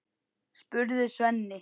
spurði Svenni.